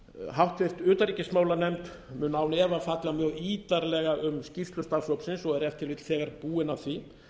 háttvirtri utanríkismálanefnd mun án efa fjalla megi ítarlega um skýrslu starfshópsins og er ef til vill þegar búin að því